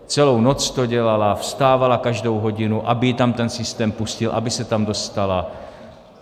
Celou noc to dělala, vstávala každou hodinu, aby ji tam ten systém pustil, aby se tam dostala.